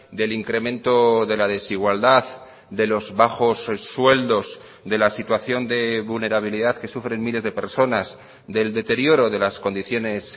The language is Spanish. del incremento de la desigualdad de los bajos sueldos de la situación de vulnerabilidad que sufren miles de personas del deterioro de las condiciones